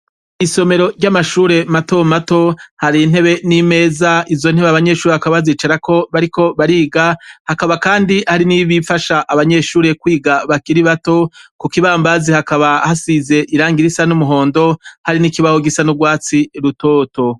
Isomero ry'amashure matomato hari ntebe n'imeza izo ntebe banyeshuri bakabazicarako bariko bariga hakaba, kandi hari n'ibifasha abanyeshure kwiga bakira bato ku kibambazi hakaba hasize irangira isa n'umuhondo hari n'ikibaho gisa n'urwatsi rutoto.